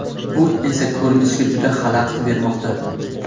bu esa ko‘rishga juda xalaqit bermoqda.